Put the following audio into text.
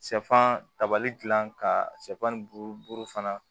Shɛfan tabali gilan ka sɛfan ni buru buru fana